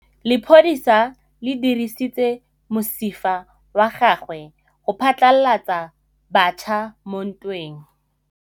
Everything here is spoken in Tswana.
Lepodisa le dirisitse mosifa wa gagwe go phatlalatsa batšha mo ntweng.